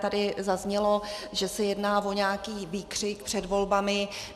Tady zaznělo, že se jedná o nějaký výkřik před volbami.